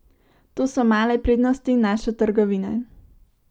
To so male prednosti naše trgovine.